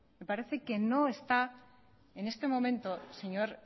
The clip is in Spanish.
me parece que en este momento señor